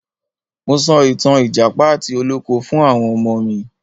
Mo so ìtàn ìjàpá àti olóko fún àwọn ọmọ mi.